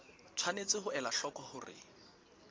tshwanetse ho ela hloko hore